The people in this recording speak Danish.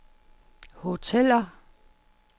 hoteller